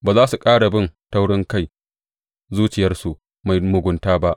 Ba za su ƙara bin taurinkai zuciyarsu mai mugunta ba.